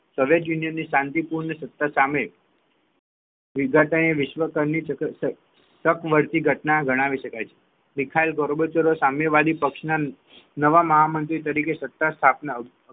સોંગટે union ની શાંતિપૂર્ણ સત્તાની સામે વિધાતાએ વિશ્વ કરની સતત સકર્ત ઘટના ગણી શકાય છે બિતહાઇ ગોરબોચઓ સામ્યવાદી પક્ષ ના નવા મહામંત્ર તરીકે સત્તા સ્થાપનાર